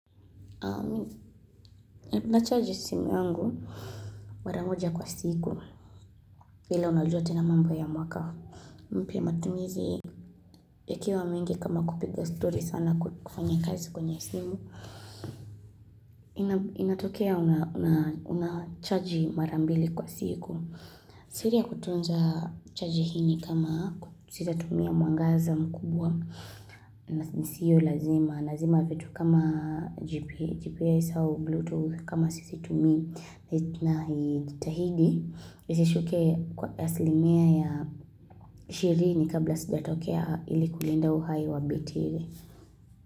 Na charge simu yangu maramoja kwa siku vile unajua tena mambo ya mwaka mpya matumizi ya kiwa mingi kama kupiga story sana kufanya kazi kwenye simu Inatokea unacharge marambili kwa siku siri ya kutunza charge hini kama sisa tumia mwangaza mkubwa Nisiyo lazima, lazima vitu kama GPS au Bluetooth kama sizitumi na itahidi Isishuke kwa aslimia ya shiri ni kabla sija tokea ili kulenda uhai wa betri.